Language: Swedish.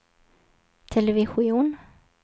television